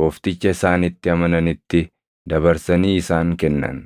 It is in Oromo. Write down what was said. Goofticha isaan itti amananitti dabarsanii isaan kennan.